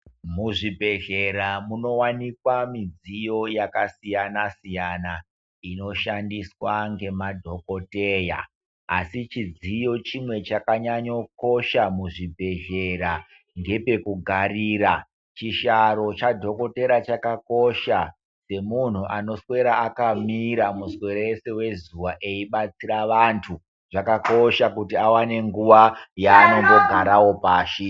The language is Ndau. Muzvibhedhlera munowanikwa midziyo yakasiyana-siyana inoshandiswa ngemadhokodheya, asi chidziyo chimwe chakanyanyokoshe muzvibhedhlera ndepekugarira, chihlaro chadhokodhera chakakosha semunhu anoswera akamira muswere wese wezuva eibatsira vantu, zvakakosha kuti awane nguva yaano mbogarawo pashi.